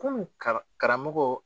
Kunun karamɔgɔ